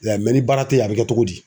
ya ye ni baara te yen a bi kɛ togo di?